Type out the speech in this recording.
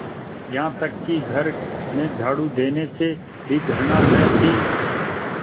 यहाँ तक कि घर में झाड़ू देने से भी घृणा न थी